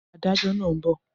Adájọ́ náà ń bọ̀